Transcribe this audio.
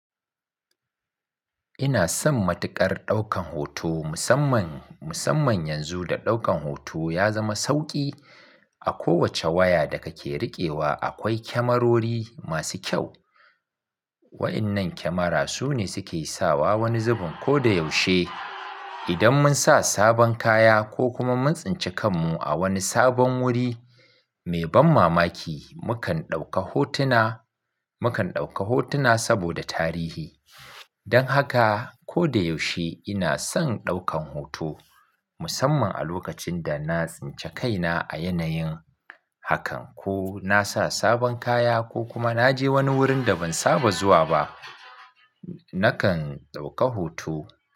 Ina son matuƙar ɗaukan hoto musamman, musamman yanzu da ɗaukan hoto ya zama sauƙi. A kowace waya da kake riƙewa akwai kyamarori masu kyau. Waɗannan kyamara su ne suke sawa wani zubin. Ko da yaushe idan mun sa sabon kaya ko kuma mun tsince kanmu a wani sabon wuri mai ban mamaki, mukan ɗauka hotuna, mukan ɗauka hotuna saboda tarihi. Don haka ko da yaushe ina son ɗaukan hoto musamman a lokacin da na tsince kaina a yanayin hakan ko na sa sabon kaya ko kuma na je wani wurin da ban saba zuwa ba, nakan ɗauka hoto.